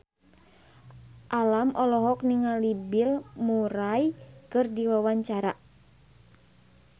Alam olohok ningali Bill Murray keur diwawancara